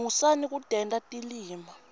musani kutenta tilima